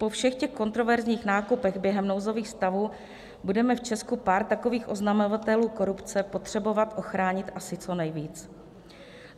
- Po všech těch kontroverzních nákupech během nouzových stavů budeme v Česku pár takových oznamovatelů korupce potřebovat ochránit asi co nejvíc.